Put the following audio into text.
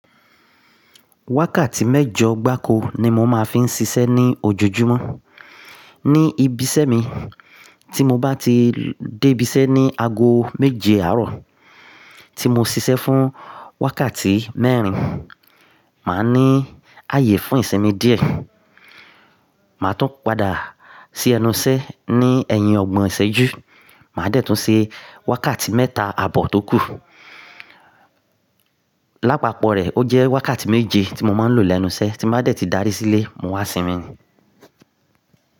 Wákàtí mẹ́jọ gbáko ni mo máa ń fi ń ṣiṣẹ́ ní ojojúmọ́ ní ibiṣẹ́ mi. Tí mo bá ti débí iṣẹ́ ní ago méje àárọ̀, tí mo ṣiṣẹ́ fún wákàtí mẹ́rin, màá ní àyè fún ìṣinmi díẹ̀. Màá tún padà sí ẹnu iṣẹ́ ní ẹ̀yin ọgbọ̀n ìṣẹ́jú. Màá de tún ṣe wákàtí mẹ́ta àbò tó kù. Lápapọ̀ rẹ̀, ó jẹ́ wákàtí méje tí mo máa ń lò lẹ́nu iṣẹ́, tí mo bá ti darí sílé, mo wá sinmi.